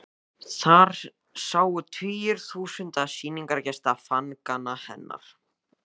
Þar sáu tugir þúsunda sýningargesta Fangann hennar.